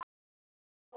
Líka inni í mér.